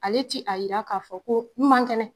Ale ti a yira k'a fɔ ko n man kɛnɛ!